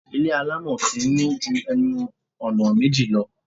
Ilé àlámọ̀rí kì í ní ju ẹnu-ọ̀nà méjì lọ.